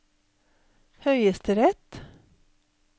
høyesterett